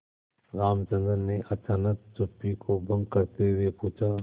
रामचंद्र ने अचानक चुप्पी को भंग करते हुए पूछा